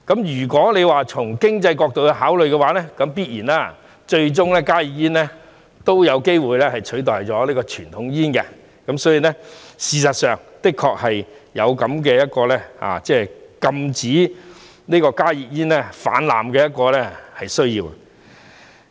如果從經濟角度考慮，加熱煙最終必然有機會取代傳統煙，所以，事實上的確有禁止加熱煙泛濫的需要。